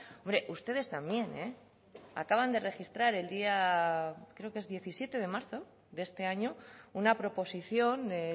hombre ustedes también acaban de registrar el día creo que es diecisiete de marzo de este año una proposición de